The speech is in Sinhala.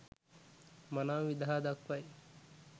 මනාව විදහා දක්වයි.